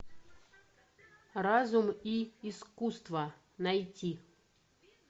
разум и искусство найти